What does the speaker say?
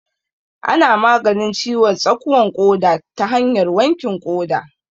Ana maganin ciwon tsakuwan ƙoda ta hanyar wankin ƙoda